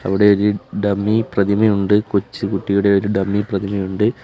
അവിടെ ഒര് ഡമ്മി പ്രതിമയുണ്ട് കൊച്ച് കുട്ടിയുടെ ഒരു ഡമ്മി പ്രതിമയുണ്ട്.